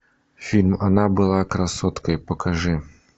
фильм она была красоткой покажи